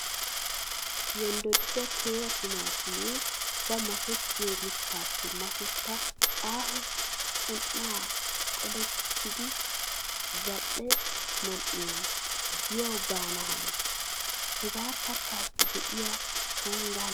Yonddoddi teera timaattimee ba makettiyo mittaappe masetta aaho qun"an qolettidi zal"e man"iya giyawu baana hanees. Hagee kattaassi de'iya shonggaa laammees.